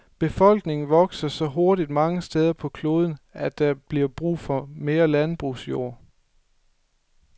Befolkningen vokser så hurtigt mange steder på kloden, at der bliver brug for mere landbrugsjord.